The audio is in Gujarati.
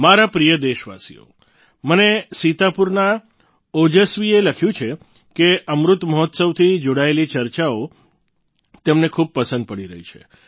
મારા પ્રિય દેશવાસીઓ મને સીતાપુરના ઓજસ્વીએ લખ્યું છે કે અમૃત મહોત્સવથી જોડાયેલી ચર્ચાઓ તેમને ખૂબ પસંદ પડી રહી છે